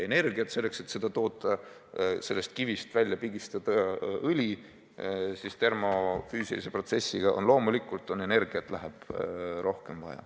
Loomulikult läheb selle tootmiseks – selleks, et sellest kivist termofüüsilise protsessi käigus õli välja pigistada – energiat vaja rohkem.